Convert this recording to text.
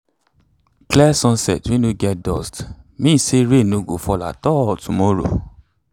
clear sunset wey no get dust mean say rain no go fall at all tomorrow.